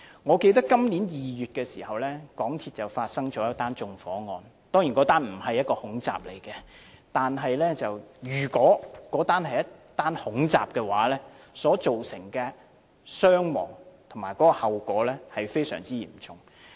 我記得在今年2月時，港鐵發生一宗縱火案，當然這宗案件並不是恐怖襲擊，但如果該宗案件是恐怖襲擊，所造成的傷亡和後果將非常嚴重。